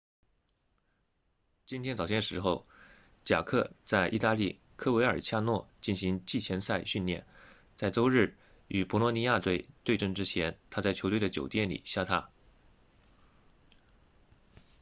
今天早些时候贾克 jarque 在意大利科维尔恰诺 coverciano 进行季前赛训练在周日与博洛尼亚队 bolonia 对阵之前他在球队的酒店里下榻